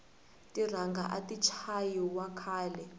tiranga ati chayi wa khale